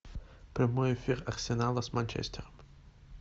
прямой эфир арсенала с манчестером